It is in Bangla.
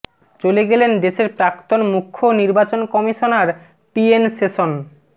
চলে গেলেন দেশের প্রাক্তন মুখ্য নির্বাচন কমিশনার টিএন সেশন